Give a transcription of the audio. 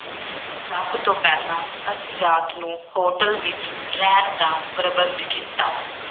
ਸਭ ਤੋਂ ਪਹਿਲਾਂ ਅਸੀਂ ਰਾਤ ਨੂੰ ਹੋਟਲ ਵਿੱਚ ਰਹਿਣ ਦਾ ਪ੍ਰਬੰਧ ਕੀਤਾ।